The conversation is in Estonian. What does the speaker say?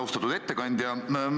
Austatud ettekandja!